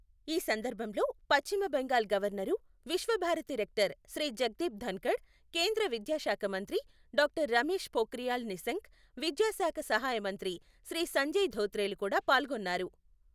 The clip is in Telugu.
ఈ సందర్భంలో పశ్చిమ బెంగాల్ గవర్నరు, విశ్వ భారతి రెక్టర్ శ్రీ జగ్దీప్ ధన్ఖఢ్, కేంద్ర విద్యా శాఖ మంత్రి డాక్టర్ రమేశ్ పోఖ్రియాల్ నిశంక్, విద్యా శాఖ సహాయ మంత్రి శ్రీ సంజయ్ ధోత్రేలు కూడా పాల్గొన్నారు.